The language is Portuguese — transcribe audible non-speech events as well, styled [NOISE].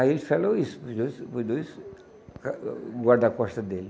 Aí ele falou isso, para os dois para os dois [UNINTELLIGIBLE] guarda-costas dele.